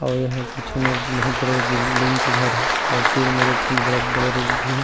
अउ एहा बिच में बहुत बड़े बिल्डिंग के घर हे और तीर में बड़े-बड़े रूख भी हे।